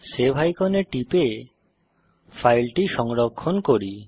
save আইকনে টিপে ফাইলটি সংরক্ষণ করি